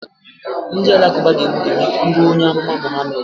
Ndị Alakụba ga-egbu gị ma ị kwuluo onye amụma Mohammed